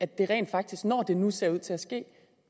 det rent faktisk når det nu ser ud til at ske